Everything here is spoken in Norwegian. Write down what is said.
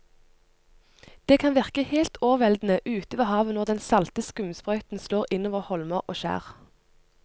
Det kan virke helt overveldende ute ved havet når den salte skumsprøyten slår innover holmer og skjær.